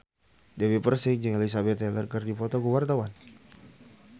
Dewi Persik jeung Elizabeth Taylor keur dipoto ku wartawan